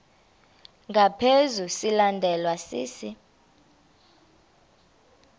ngaphezu silandelwa sisi